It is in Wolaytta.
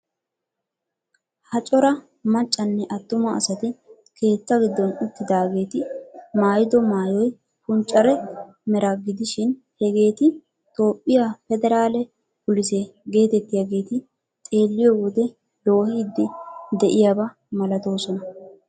Ha cora maccanne attuma asati keetta giddon uttidaageeti maayido maayoy punccare meraa gidishin hageeti toophphiya pederaale police geetettiyageet xeelliyo wode loohiiddi de'iyaba malatoosona.